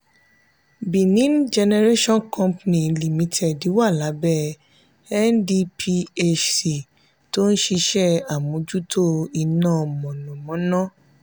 benin generation company limited wà lábẹ́ ndphc tó ń ṣe àmójútó iná mọ̀nàmọ́ná